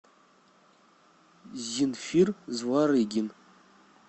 зинфир зварыгин